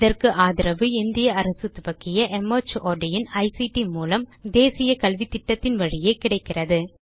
இதற்கு ஆதரவு இந்திய அரசு துவக்கிய மார்ட் இன் ஐசிடி மூலம் தேசிய கல்வித்திட்டத்தின் வழியே கிடைக்கிறது